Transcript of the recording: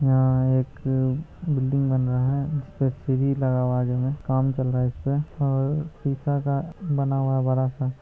यहाँ एक बिल्डिंग बन रहा है जिसपे सीढ़ी लगा हुआ है काम चल रहा है इसपे और शीशा का बना हुआ है बड़ा-सा |